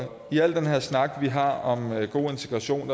til al den her snak vi har om god integration